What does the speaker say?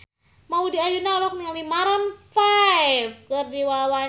Maudy Ayunda olohok ningali Maroon 5 keur diwawancara